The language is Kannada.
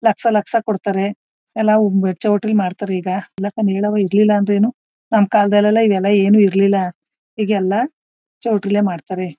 ಲಕ್ಷ ಲಕ್ಷ ಕೊಡ್ತಾರೆ ಎಲ್ಲ ಚೌಳ್ತಲ್ಲಿ ಮಾರ್ತಾರೆ ಈಗ ನಮ್ ಕಾಲದಲ್ಲಿ ಇವೆಲ್ಲ ಏನ್ ಇರಲ್ಲಿಲ್ಲ ಈಗೆಲ್ಲ ಚೌಲ್ಟ್ರಿಲ್ಲೇ ಮಾಡ್ತಾರೆ